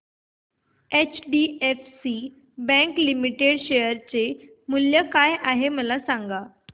HDFC bank limited share मूल्य काय आहे मला सांगा